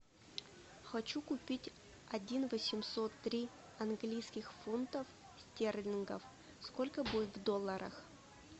хочу купить один восемьсот три английских фунтов стерлингов сколько будет в долларах